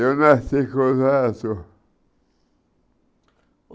Eu nasci com os olhos azuis.